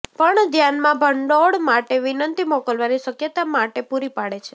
પણ ધ્યાનમાં ભંડોળ માટે વિનંતી મોકલવાની શક્યતા માટે પૂરી પાડે છે